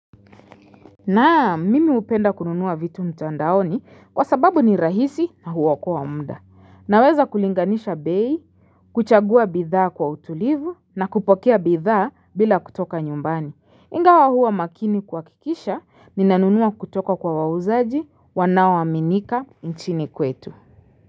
Naam, mimi hupenda kununua vitu mtandaoni kwa sababu ni rahisi na huokoa wa muda. Naweza kulinganisha bei, kuchagua bidhaa kwa utulivu na kupokea bidhaa bila kutoka nyumbani. Ingawa huwa makini kuhakikisha, ninanunua kutoka kwa wauzaji, wanao aminika nchini kwetu.